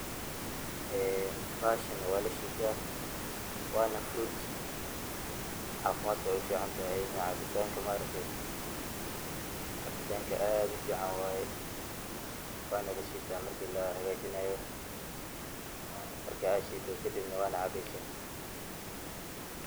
Bahashani walashita wanafurut, cafimadka ayey uficantahay inii maaragte cabitanka aad ufican waye wanalashita marka cabeyso marka shidana wacabeysa.